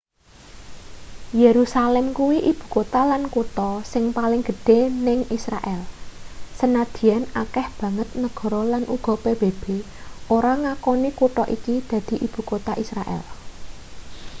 yerusalem kuwi ibukota lan kutha sing paling gedhe ning israel sanadyan akeh banget negara lan uga pbb ora ngaoni kutha iki dadi ibukota israel